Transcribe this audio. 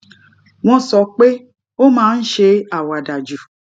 wón sọ pé ó máa ń ṣe àwàdà jù